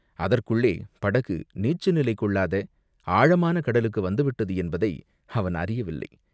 அதற்குள்ளே படகு நீச்சுநிலை கொள்ளாத ஆழமான கடலுக்கு வந்துவிட்டது என்பதை அவன் அறியவில்லை.